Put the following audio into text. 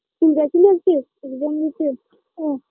school গেছিলি আজকে exam দিতে ও